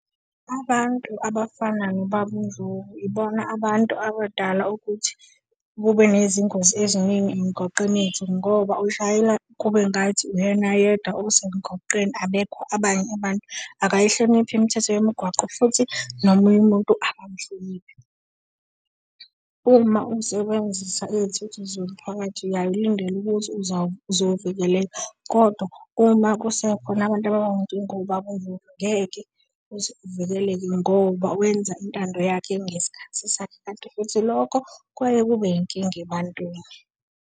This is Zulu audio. Abantu abafana nobaba uNdlovu ibona abantu abadala ukuthi kube nezingozi eziningi emigwaqeni yethu ngoba ushayela kube ngathi uyena yedwa osemgaqweni, abekho abanye abantu. Akayihloniphi imithetho yomgwaqo futhi nomunye umuntu akamhloniphi. Uma usebenzisa izithuthi zomphakathi uyaye ulindele ukuthi uzovikeleka, kodwa uma kusekhona abantu abanjengobaba uNdlovu ngeke uze uvikeleke ngoba wenza intando yakhe ngesikhathi sakhe, kanti futhi lokho kuyaye kube yinkinga abantwini.